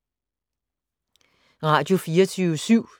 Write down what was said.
Radio24syv